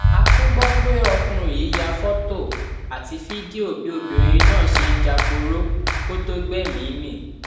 a tún gbọ pé ọkùnrin yìí ya fọtò àti fídíò bí obìnrin náà ṣe ń jáporo kó tóó gbẹmìí mì